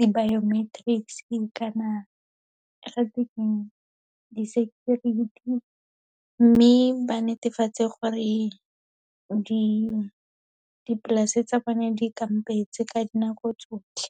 di-biometrics-e kana ga te keng, di-security. Mme ba netefatse gore dipolase tsa bone di kampetse ka dinako tsotlhe.